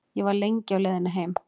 Ég var lengi á leiðinni heim.